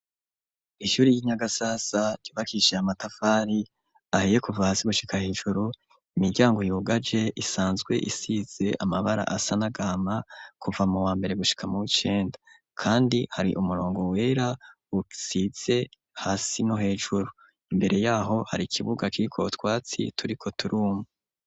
Ishuri y'i Nyagasasa, ryubakishiye amatafari ahiye kuva hasi gushika hejuru, imiryango yugaje isanzwe isize amabara asa n'agahama kuva mu wambere gushika muw'icenda, kandi hari umurongo wera usize hasi no hejuru, imbere yaho hari ikibuga kiriko utwatsi turiko turuma.